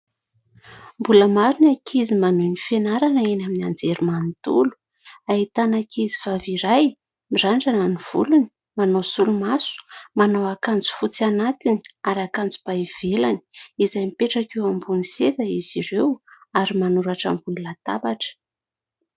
Mbola maro ny ankizy manohy ny fianarana eny amin'ny anjerimanontolo. Ahitana ankizivavy iray mirandrana ny volony, manao solomaso, manao akanjo fotsy anatiny ary akanjo ba ivelany izay mipetraka eo ambony seza izy ireo ary manoratra ambony latabatra.